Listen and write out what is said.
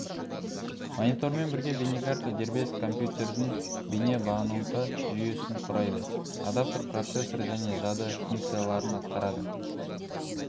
монитормен бірге бейнекарта дербес компьютердің бейне бағыныңқы жүйесін құрайды адаптер процессор және жады функцияларын атқарады